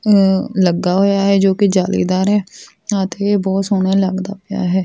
ਲੱਗਾ ਹੋਇਆ ਹੈ ਜੋ ਕਿ ਜਾਲੀਦਾਰ ਹੈ ਅਤੇ ਬਹੁਤ ਸੋਹਣੇ ਲੱਗਦਾ ਪਿਆ ਹੈ।